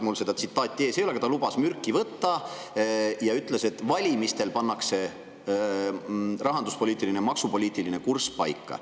Mul seda tsitaati ees ei ole, aga ta lubas mürki võtta ja ütles, et valimistel pannakse rahanduspoliitiline ja maksupoliitiline kurss paika.